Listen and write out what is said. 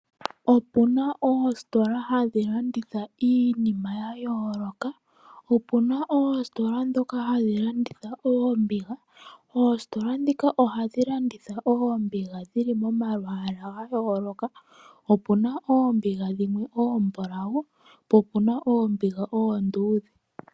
Opu na oositola hadhi landitha iinima ya yooloka. Opu na oositola ndhoka hadhi landitha oombiga. Oositola ndhika ohadhi landitha oombiga dhi na omalwaala ga yooloka, opu na oombiga dhimwe oombulawu po opu na oombiga dhimwe oonduudhe.